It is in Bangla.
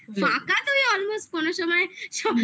ফাঁকা তুই almost কোনোসময়